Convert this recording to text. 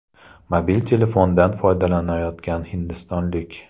Mobil telefondan foydalanyotgan hindistonlik.